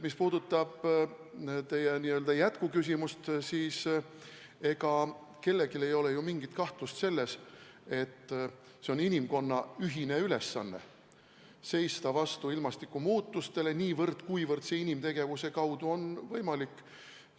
Mis puudutab teie n-ö jätkuküsimust, siis ega kellelgi ei ole ju mingit kahtlust, et inimkonna ühine ülesanne on seista vastu ilmastikumuutustele niivõrd, kuivõrd see inimtegevuse kaudu võimalik on.